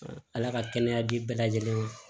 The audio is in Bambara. ala ka kɛnɛya di bɛɛ lajɛlen ma